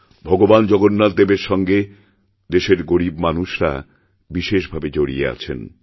ভগবান জগন্নাথদেবের সঙ্গে দেশের গরীব মানুষরা বিশেষভাবে জড়িয়ে আছেন